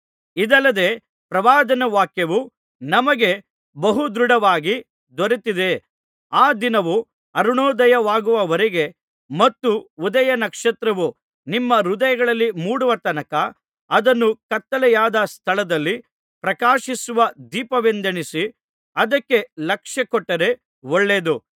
ಇದಲ್ಲದೆ ಪ್ರವಾದನವಾಕ್ಯವು ನಮಗೆ ಬಹುದೃಢವಾಗಿ ದೊರೆತಿದೆ ಆ ದಿನವು ಅರುಣೋದಯವಾಗುವರೆಗೆ ಮತ್ತು ಉದಯ ನಕ್ಷತ್ರವು ನಿಮ್ಮ ಹೃದಯಗಳಲ್ಲಿ ಮೂಡುವತನಕ ಅದನ್ನು ಕತ್ತಲೆಯಾದ ಸ್ಥಳದಲ್ಲಿ ಪ್ರಕಾಶಿಸುವ ದೀಪವೆಂದೆಣಿಸಿ ಅದಕ್ಕೆ ಲಕ್ಷ್ಯಕೊಟ್ಟರೆ ಒಳ್ಳೆಯದು